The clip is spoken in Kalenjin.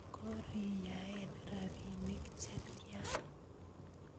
Koriyaen rapinik chetyan